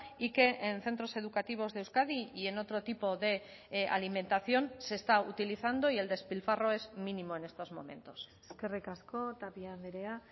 y que en centros educativos de euskadi y en otro tipo de alimentación se está utilizando y el despilfarro es mínimo en estos momentos eskerrik asko tapia andrea